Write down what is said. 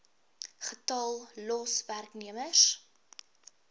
getal los werknemers